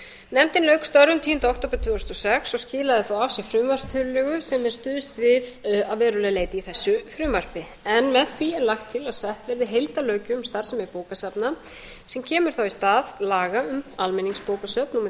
nefndin lauk störfum tíunda október tvö þúsund og sex og skilaði svo af sér frumvarpstillögu sem er stuðst við að verulegu leyti í þessu frumvarpi en með því er lagt til að sett verði heildarlöggjöf um starfsemi bókasafna sem kemur þá í stað laga um almenningsbókasöfn númer